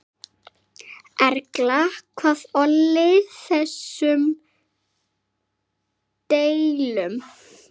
Erla, hvað olli þessum deilum?